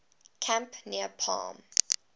camp near palm